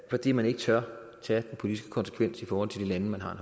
fordi man ikke tør tage de politiske konsekvenser i forhold til de lande man har